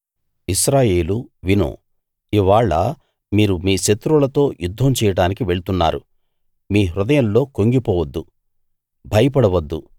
ఇశ్రాయేలూ విను ఇవ్వాళ మీరు మీ శత్రువులతో యుద్ధం చేయడానికి వెళ్తున్నారు మీ హృదయాల్లో కుంగిపోవద్దు భయపడవద్దు